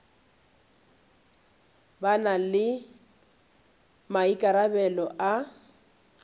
ba na le maikarabelo a